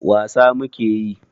wasa muke yi